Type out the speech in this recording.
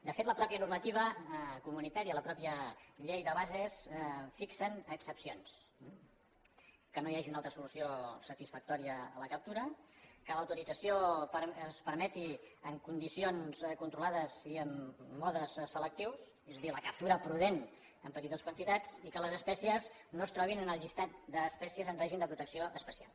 de fet la mateixa normativa comunitària la mateixa llei de bases fixen excepcions que no hi hagi una altra solució satisfactòria a la captura que l’autorització es permeti en condicions controlades i en modes selectius és a dir la captura prudent en petites quantitats i que les espècies no es trobin en el llistat d’espècies en règim de protecció especial